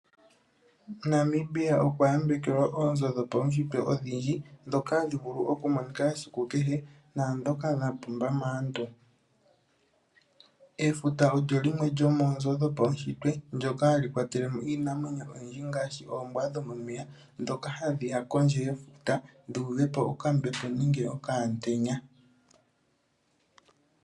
Namibia okwa yambekelwa oonzo dhopaunshitwe odhindji, ndhoka hadhi vulu oku monika esiku kehe naandhoka dha pumba maantu. Efuta olyo limwe lyomoonzo dhopaunshitwe ndyoka hali kwatele mo iinamwenyo oyindji ngaashi oombwa dhomomeya, ndhoka hadhi ya kondje yefuta, dhu uve po okambepo nenge okaantenya.